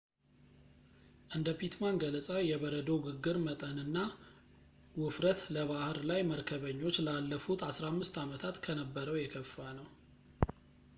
እንደ ፒትማን ገለፃ የበረዶው ግግር መጠንና ውፍረት ለባሕር ላይ መርከበኞች ላለፉት 15 ዓመታት ከነበረው የከፋ ነው